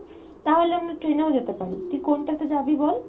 তাহলে আমরা train এ ও যেতে পারি, তুই কোনটাতে যাবি বল